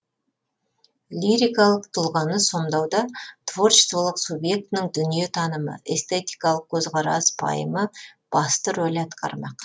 лирикалық тұлғаны сомдауда творчестволық субъектінің дүниетанымы эстетикалық көзқарас пайымы басты роль атқармақ